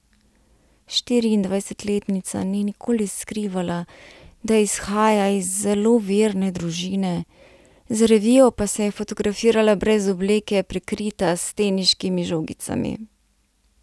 Štiriindvajsetletnica ni nikoli skrivala, da izhaja iz zelo verne družine, za revijo pa se je fotografirala brez obleke, prekrita s teniškimi žogicami.